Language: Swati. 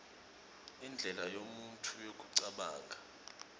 indlela yemuntfu yekucabanga